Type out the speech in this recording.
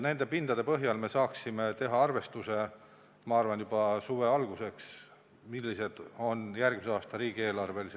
Pindade põhjal me saaksime juba suve alguseks teha arvestuse, millised on võimalikud tulud järgmise aasta riigieelarves.